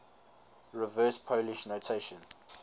reverse polish notation